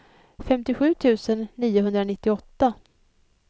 femtiosju tusen niohundranittioåtta